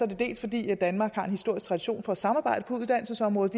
det dels fordi danmark har en historisk tradition for at samarbejde på uddannelsesområdet